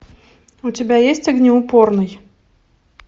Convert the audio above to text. у тебя есть огнеупорный